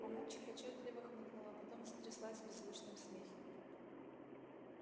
мамульчик отчётливо хмыкнула а потом затряслась в беззвучном смехе